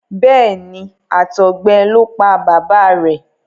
Béèni àtọgbẹ ló pá bàbá rẹ.